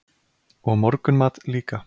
Og morgunmat líka.